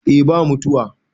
eh ba mutuwa